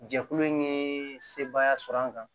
Jɛkulu in ye sebaaya sɔrɔ an kan